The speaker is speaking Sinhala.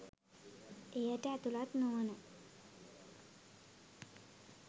එයට ඇතුළත් නොවන